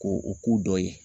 Ko o k'u dɔ ye.